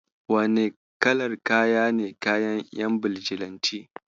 Wane kalar kaya ne kayan ƴan Bijilanti?